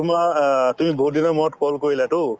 তোমাৰ অ তুমি বহুত দিনৰ মূৰত call কৰিলাতো